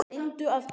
Reyndu að giska.